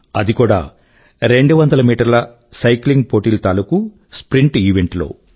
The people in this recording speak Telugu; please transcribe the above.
అది కూడా 200 మీటర్ల సైక్లింగ్ పోటీ తాలూకూ స్ప్రింట్ ఇవెంట్ లో